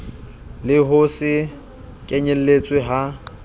le ho se kenyeletswe ha